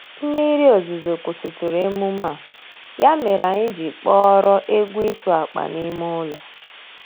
Mmiri ozuzo kwusitụrụ emume a, ya mere anyị ji kpọrọ egwu ịtụ akpa n'ime ụlọ.